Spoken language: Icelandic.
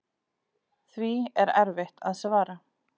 Því er erfitt að svara.